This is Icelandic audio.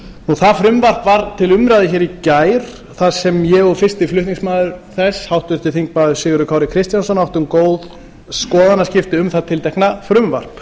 það frumvarp var til umræðu hér í gær þar sem ég og fyrsti flutningsmaður þess háttvirtur þingmaður sigurður kári kristjánsson áttum góð skoðanaskipti um það tiltekna frumvarp